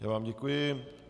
Já vám děkuji.